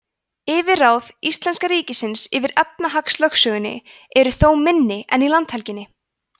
yfirráð íslenska ríkisins yfir efnahagslögsögunni eru þó minni en í landhelginni